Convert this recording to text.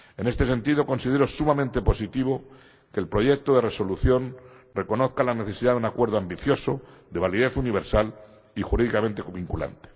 En este sentido considero sumamente positivo que el proyecto de Resolución reconozca la necesidad de un acuerdo ambicioso, de validez universal y jurídicamente vinculante.